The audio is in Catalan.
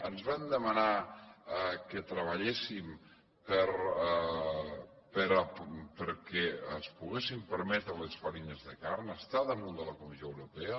ens van demanar que treballéssim perquè es poguessin permetre les farines de carn està damunt de la comissió europea